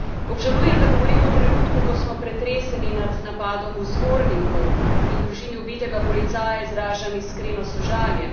Obžalujem, da govorimo v trenutku, ko smo pretreseni nad napadom v Zvorniku in družini ubitega policaja izražam iskreno sožalje.